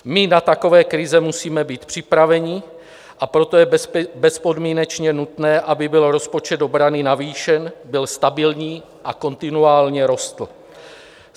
My na takové krize musíme být připraveni, a proto je bezpodmínečně nutné, aby byl rozpočet obrany navýšen, byl stabilní a kontinuálně rostl.